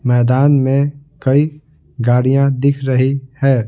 मैदान में कई गाड़ियां दिख रही है।